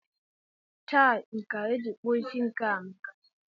Chai! Nkà eji kpụọ isí nke a amaka!